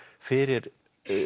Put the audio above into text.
fyrir